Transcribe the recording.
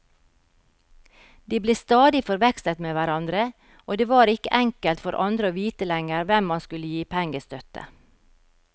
De ble stadig forvekslet med hverandre, og det var ikke enkelt for andre å vite lenger hvem man skulle gi pengestøtte.